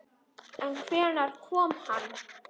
En hvenær kom hann?